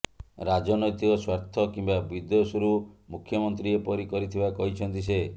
ରାଜନୈତିକ ସ୍ୱାର୍ଥ କିମ୍ବା ବିଦ୍ୱେଷରୁ ମୁଖ୍ୟମନ୍ତ୍ରୀ ଏପରି କରିଥିବା କହିଛନ୍ତି ସେ